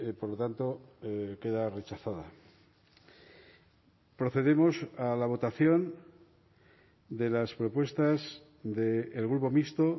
por lo tanto queda rechazada procedemos a la votación de las propuestas del grupo mixto